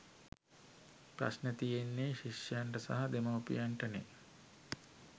ප්‍රශ්ණ තියෙන්නේ ශිෂ්‍යයින්ට සහ දෙමව්පියන්ට නේ.